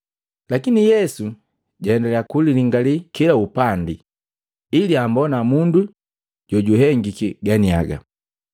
Lakini Yesu jaendaliya kulingalii kila upandi ili ambona mundu jojuhengiki ganiaga.